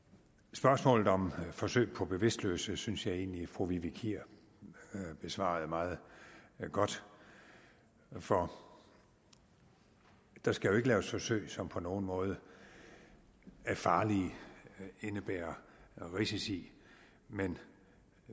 spørgsmålet om forsøg på bevidstløse synes jeg egentlig fru vivi kier besvarede meget godt for der skal jo ikke laves forsøg som på nogen måde er farlige indebærer risici men